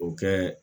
O kɛ